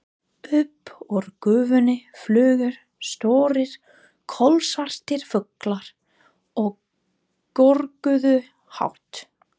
Upp úr gufunni flugu stórir, kolsvartir fuglar og görguðu hátt.